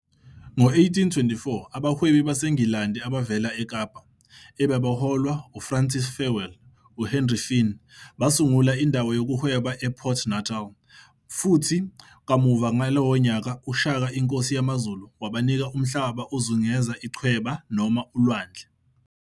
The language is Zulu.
Ngo-1824, abahwebi baseNgilandi abavela eKapa, ababeholwa uFrancis Farewell UHenry Fynn, basungula indawo yokuhweba ePort Natal, futhi kamuva ngalowo nyaka, UShaka, inkosi yamaZulu, wabanika umhlaba ozungeze ichweba noma ulwandle.